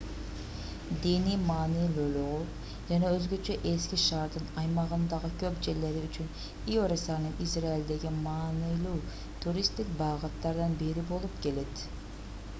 диний маанилүүлүгү жана өзгөчө эски шаардын аймагындагы көп жерлери үчүн иерусалим израилдеги маанилүү туристтик багыттардын бири болуп келет